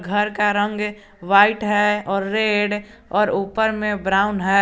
घर का रंग व्हाइट है और रेड और ऊपर में ब्राउन है।